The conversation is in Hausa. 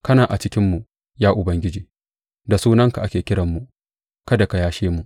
Kana a cikinmu, ya Ubangiji, da sunanka ake kiranmu; kada ka yashe mu!